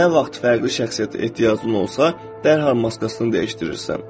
Nə vaxt fərqli şəxsiyyətə ehtiyacın olsa, dərhal maskasını dəyişdirirsən.